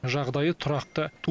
жағдайы тұрақты